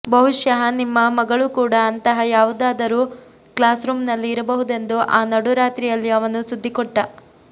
ಬಹುಷಃ ನಿಮ್ಮ ಮಗಳೂ ಕೂಡ ಅಂತಹ ಯಾವುದಾದರೂ ಕ್ಲಾಸ್ರೂಮ್ನಲ್ಲಿ ಇರಬಹುದೆಂದು ಆ ನಡುರಾತ್ರಿಯಲ್ಲಿ ಅವನು ಸುದ್ದಿ ಕೊಟ್ಟ